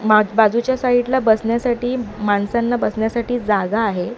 माग बाजूच्या साईट ला बसण्यासाठी माणसांना बसण्यासाठी जागा आहे.